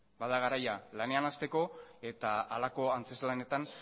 bada garaia lanean hasteko eta halako antzezlanetan